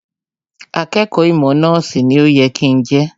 Akẹ́kọ̀ọ́ ìmọ̀ nọ́ọ̀sì ni ó yẹ kí n jẹ́